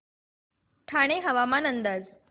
ठाणे हवामान अंदाज